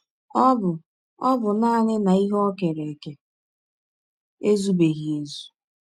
Ọ bụ Ọ bụ nanị na ihe o kere eke ezụbeghị ezụ.